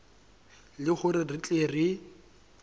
le hore re tle re